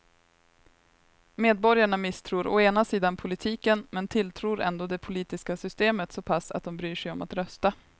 Medborgarna misstror å ena sidan politiken men tilltror ändå det politiska systemet så pass att de bryr sig om att rösta.